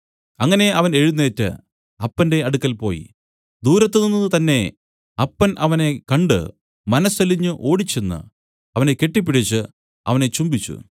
അങ്ങനെ അവൻ എഴുന്നേറ്റ് അപ്പന്റെ അടുക്കൽ പോയി ദൂരത്ത് നിന്നു തന്നേ അപ്പൻ അവനെ കണ്ട് മനസ്സലിഞ്ഞ് ഓടിച്ചെന്നു അവനെ കെട്ടിപ്പിടിച്ച് അവനെ ചുംബിച്ചു